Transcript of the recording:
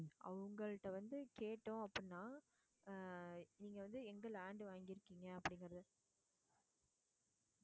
அவங்ககிட்ட வந்து கேட்டோம் அப்படின்னா அஹ் நீங்க வந்து எங்க land வாங்கிருக்கீங்க அப்படிங்குறத